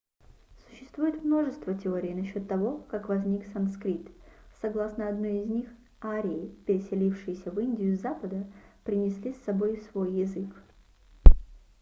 существует множество теорий насчет того как возник санскрит согласно одной из них арии переселившиеся в индию с запада принесли с собой свой язык